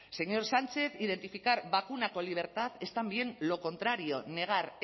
señor sánchez identificar vacuna con libertad es también lo contrario negar